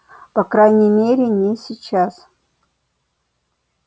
по крайней мере не сейчас